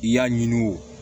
I y'a ɲini o